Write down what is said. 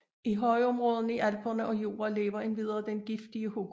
I højområderne i Alperne og Jura lever endvidere den giftige hugorm